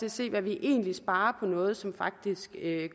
at se hvad vi egentlig sparer på noget som faktisk